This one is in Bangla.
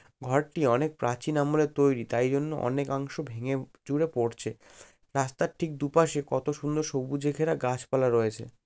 ঘরটি অনেক প্রাচীন আমলের তৈরী তাই জন্য অনেকাংশ ভেঙ্গে উম চুরে পড়ছে। রাস্তার ঠিক দুপাশে কত সুন্দর সবুজে ঘেরা গাছপালা রয়েছে।